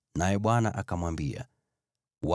naye Bwana akamwambia Mose,